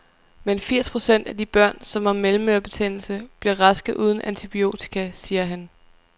Men firs procent af de børn, som har mellemørebetændelse, bliver raske uden antibiotika, siger han.